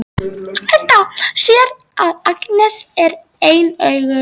Edda sér að Agnes er ein augu.